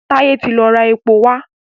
Taye tí lọ rá èpo wá.